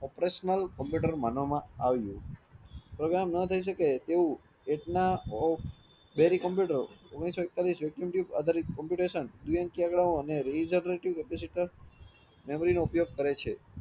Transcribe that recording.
operational computer માનવામાં આવ્યું program ના થયી શકે તેવું કમ્પ્યુટર ઓગણીસો એકતાલીસ vacuum tube other computation, , memory નો ઉપયોગ કરે છે